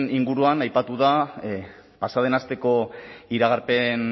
inguruan aipatu da pasa den asteko iragarpen